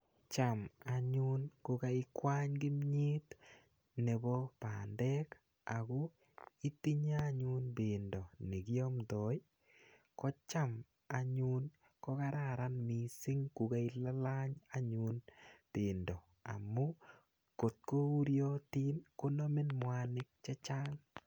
Cham anyun kokaikwany kimyet nebo bandek, ako itinye anyun pendo nekiamdoi, kocham anyun ko kararan missing kokailalany anyun pendo. Amu ngotko uriotin, konamin mwanik chechang.